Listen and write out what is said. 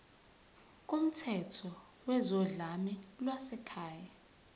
kumthetho wezodlame lwasekhaya